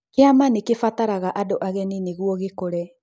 Kĩama nĩ kĩbataraga andũ ageni nĩguo gĩkũre.